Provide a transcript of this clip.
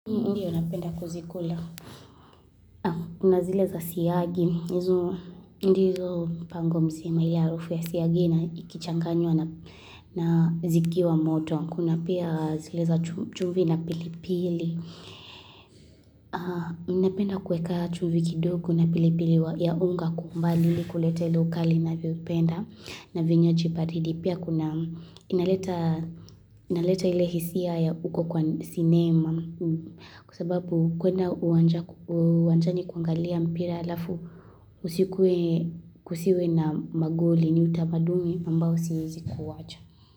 Ndiyo napenda kuzikula. Kuna zileza siyagi. Ndizo mpango mzima ya harufu ya siyagina ikichanganywa na zikiwa moto. Kuna pia zile za chumvi na pilipili. Napenda kueka chumvi kidoko na pilipili ya unga kwa umbali ili kulete ukali navyopenda na vinywaji baridi. Pia kuna inaleta inaleta ile hisia ya uko kwa sinema kwa sababu kuenda uwanjani kuangalia mpira alafu usikuwe kusiwe na magoli ni utamaduni ambao siwezi kuwacha.